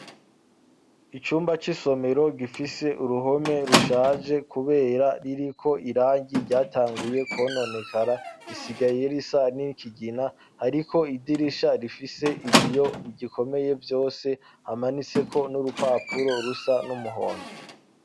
Icumba c'isomero gifise uruhome rushaje kubera riri ko irangi ryatanguye kononekara isigayerisa nikigina ariko idirisha rifise ibiyo gikomeye byose hamanitseko n'urupapuro rusa n'umuhondo.